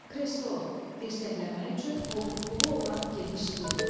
Kreslo, dirsəklənmək üçün qoltuqluğu olan geniş stol.